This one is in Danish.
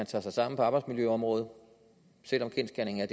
tager sig sammen på arbejdsmiljøområdet selv om kendsgerningen er